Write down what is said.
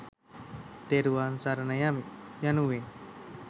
තෙරුවන් සරණ යමි යනුවෙන්